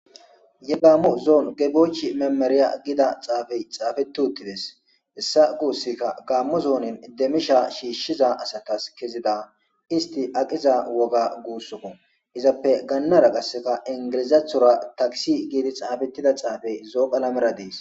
Ye gaammo zoon gebochi memerya gida xaafey xaafetuttides. Hissa guussika gaammo zoonin demisha shiishshiza asatas kezida isti aqiza woga guussoo izappe gaannara qasseka ingilizathora takisi giidi xaafettida xaafey zooqa lamera dees.